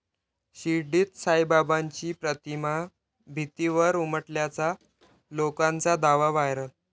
शिर्डीत साईबाबांची प्रतिमा भिंतीवर उमटल्याचा लोकांचा दावा, व्हायरल